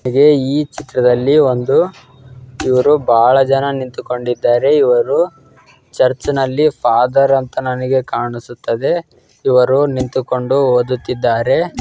ಈಗೆ ಈ ಚಿತ್ರದಲ್ಲಿ ಒಂದು ಇವ್ರು ಬಾಳ ಜನ ನಿಂತುಕೊಂಡಿದ್ದಾರೆ ಇವರು ಚರ್ಚ್ ನಲ್ಲಿ ಫಾದರ್ ಅಂತ ನನಿಗೆ ಕಾಣಿಸುತ್ತದೆ ಇವರು ನಿಂತುಕೊಂಡು ಓದುತ್ತಿದ್ದಾರೆ.